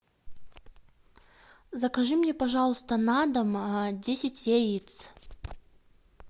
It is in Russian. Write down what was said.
закажи мне пожалуйста на дом десять яиц